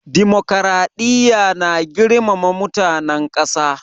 Dimokuraɗiya na girmama mutanen ƙasa.